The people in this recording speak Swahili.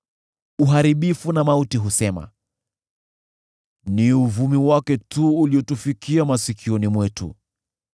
Uharibifu na Mauti husema, ‘Ni uvumi wake tu uliotufikia masikioni mwetu.’